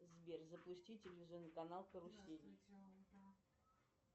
сбер запусти телевизионный канал карусель